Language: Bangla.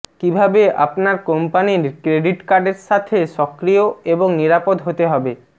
কিভাবে আপনার কোম্পানীর ক্রেডিট কার্ডের সাথে সক্রিয় এবং নিরাপদ হতে হবে